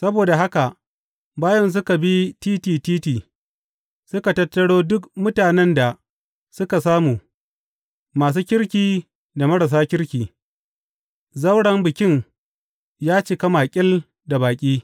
Saboda haka bayin suka bi titi titi, suka tattaro duk mutanen da suka samu, masu kirki da marasa kirki, zauren bikin ya cika makil da baƙi.